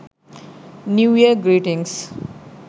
new year greetings